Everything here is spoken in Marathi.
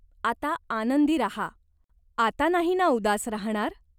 आता आनंदी राहा. आता नाही ना उदास राहाणार?